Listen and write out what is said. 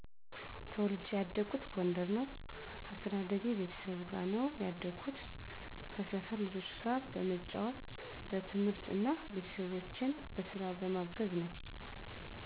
ተወልጄ ያደኩት ጎንደር ነው። አስተዳደጌ ቤተሰብ ጋር ነው ያደኩት፣ ከሰፈር ልጆች ጋር በመጫዎት፣ በትምህርት እና ቤተሰቦቼን በስራ በማገዘ ነው።